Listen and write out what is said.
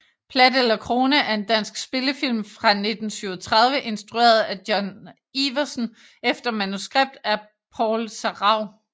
Plat eller Krone er en dansk spillefilm fra 1937 instrueret af Jon Iversen efter manuskript af Paul Sarauw